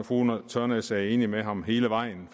fru ulla tørnæs er enig med ham hele vejen